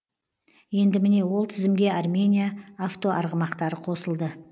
енді міне ол тізімге армения автоарғымақтары қосылды